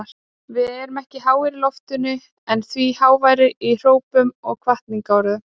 Við erum ekki háir í loftinu en því háværari í hrópum og hvatningarorðum.